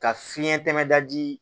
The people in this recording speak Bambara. Ka fiɲɛ tɛmɛda di